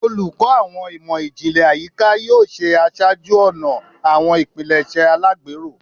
Oluko Awọn Imọ-jinlẹ Ayika yoo ṣe aṣáájú-ọnà awọn ipilẹṣẹ alagbero